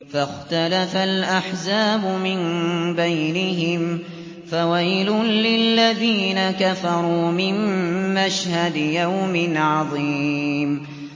فَاخْتَلَفَ الْأَحْزَابُ مِن بَيْنِهِمْ ۖ فَوَيْلٌ لِّلَّذِينَ كَفَرُوا مِن مَّشْهَدِ يَوْمٍ عَظِيمٍ